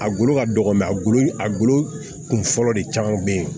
A golo ka dɔgɔ a golo a golo kun fɔlɔ de caman bɛ ye